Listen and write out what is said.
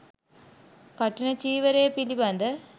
කඨින චීවරය පිළිබඳ